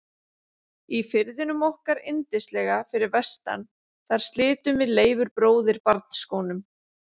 Í firðinum okkar yndislega fyrir vestan þar slitum við Leifur bróðir barnsskónum.